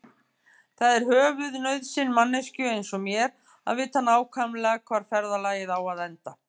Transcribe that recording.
Það er höfuðnauðsyn manneskju einsog mér að vita nákvæmlega hvar ferðalagið á að enda.